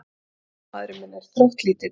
En maðurinn minn er þróttlítill.